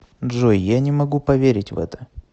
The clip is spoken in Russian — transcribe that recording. джой я не могу поверить в это